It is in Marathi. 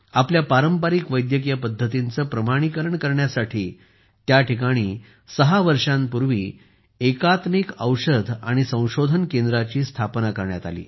आपल्या पारंपारिक वैद्यकीय पद्धतींचे प्रमाणीकरण करण्यासाठी त्या ठिकाणी सहा वर्षांपूर्वी एकात्मिक औषध आणि संशोधन केंद्राची स्थापना करण्यात आली